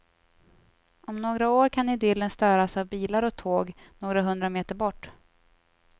Om några år kan idyllen störas av bilar och tåg några hundra meter bort.